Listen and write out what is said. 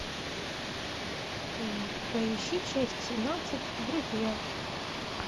поищи часть семнадцать друзья